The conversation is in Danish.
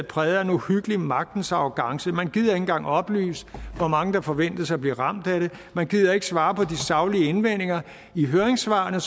præget af en uhyggelig magtens arrogance man gider ikke engang oplyse hvor mange der forventes at blive ramt af det og man gider ikke svare på de saglige indvendinger i høringssvarene